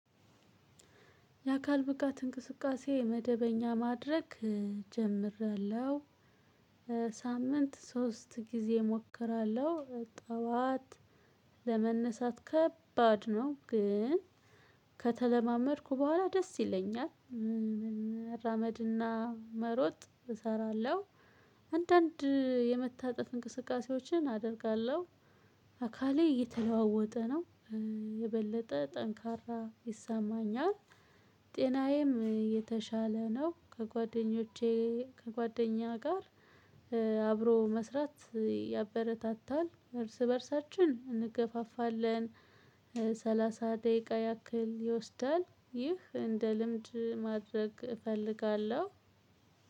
የአካል ብቃት እንቅስቃሴ መደበኛ ማድረግ ጀምሪያለሁ ሳምንት ሶስት ጊዜ እሞክራለሁ ጠዋት ለመነሳት ከባድ ነው ግን ከተለማመድኩ በኋላ ደስ ይለኛል። ራመድና መሮጥ እሰራለሁ። አንዳንድ የመታጠፍ እንቅስቃሴዎችን አደርጋለሁ። አካሌ እየተለዋወጠ ነው። የበለጠ ጠንካራ ይሰማኛል። ጤናዬም የተሻለ ነው። ከጓደኞቼ ከጓደኛ ጋር አብሮ መስራት ያበረታታል እርስ በእርሳችን እንገፋፋለን። ሰላሳ ደቂቃ ያክል ይወስዳል ይህ እንደ ልምድ ማድረግ እፈልጋለሁ።